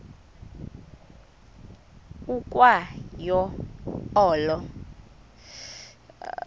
ukwa yo olo